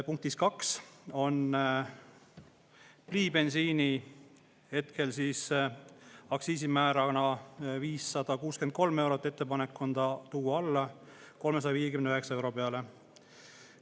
Punktis 2 on ettepanek pliibensiini hetkel aktsiisimäära 563 eurot tuua alla 359 euro peale.